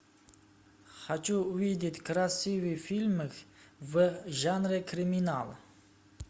хочу увидеть красивый фильм в жанре криминал